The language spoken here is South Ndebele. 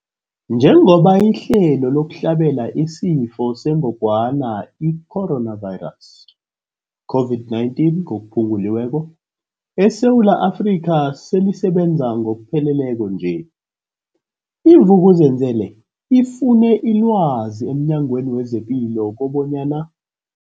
Njengoba ihlelo lokuhlabela isiFo sengogwana i-Corona, i-COVID-19, eSewula Afrika selisebenza ngokupheleleko nje, i-Vuk'uzenzele ifune ilwazi emNyangweni wezePilo kobanyana.